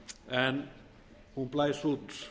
en hún blæs út